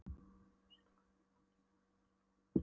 Þú sérð hvernig fannkyngið er og komið langt á einmánuð.